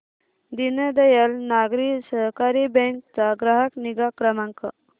Deendayal Nagari Sahakari bank चा ग्राहक निगा क्रमांक